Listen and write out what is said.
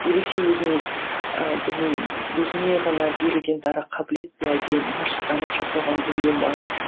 ерекше өзіңнің ы білмеймін өзіңе ғана берілген дара қабілет пе әлде машықтанып жасалған дүние ме